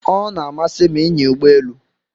O na-amasị m inya Ụgbọ elu